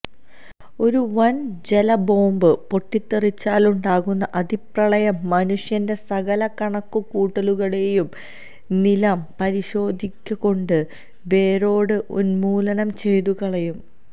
ഒരു വന് ജലബോംബ് പെട്ടിത്തെറിച്ചാലുണ്ടാകുന്ന അതിപ്രളയം മനുഷ്യന്റെ സകലകണക്കു കൂട്ടലുകളേയും നിലം പരിശാക്കിക്കൊണ്ട് വേരോടെ ഉന്മൂലനം ചെയ്തുകളയും